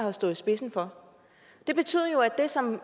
har stået i spidsen for det betyder jo at det som